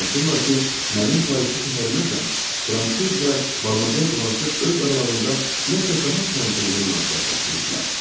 Danışırlar ki, mənim Parisə səfəriməcən Fransız və Madamoyzel Blaşe öz aralarında nəsə daha təntənəli münasibət saxlayıblar.